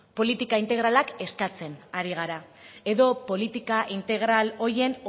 politika integralak eskatzen ari gara edo politika integral horien